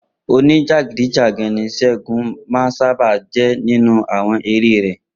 Oníjàgídíjàgan ní Sé̩gun máa ń sábà jé̩ nínú àwo̩n eré rè̩